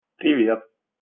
привет